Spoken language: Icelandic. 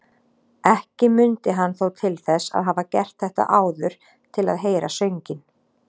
Ekki mundi hann þó til þess að hafa gert þetta áður til að heyra sönginn.